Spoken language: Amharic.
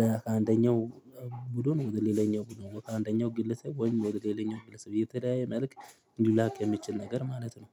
ለአንደኛው ቡድን ወደ ሌላኛው ቡድን ወደ አንደኛው ግለሰብ ወይም ወደ ሌላኛው ግለሰብ እየተለያየ መልክት ሊላክ የሚችል ነገር ማለት ነው።